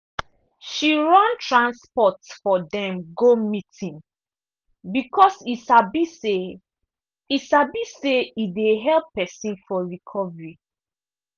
she run transport for dem go meeting because e sabi say e sabi say e dey help pesin for recovery.